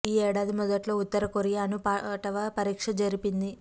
ఈ ఏడాది మొదట్లో ఉత్తర కొరియా అణు పాటవ పరీక్ష జరిపింది